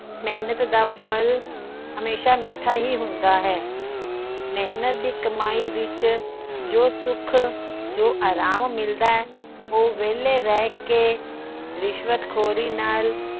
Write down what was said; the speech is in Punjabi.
ਮੇਹਨਤ ਦਾ ਫ਼ਲ ਹਮੇਸ਼ਾ ਮਿੱਠਾ ਹੀ ਹੁੰਦਾ ਹੈ। ਮੇਹਨਤ ਦੀ ਕਮਾਈ ਵਿੱਚ ਜੋ ਸੁੱਖ, ਜੋ ਅਰਾਮ ਮਿਲਦਾ। ਉਹ ਵੇਹਲਾ ਰਹਿ ਕੇ ਰਿਸ਼ਵਤ ਖੋਰੀ ਨਾਲ